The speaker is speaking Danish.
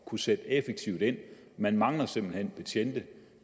kunne sætte effektivt ind man mangler simpelt hen betjente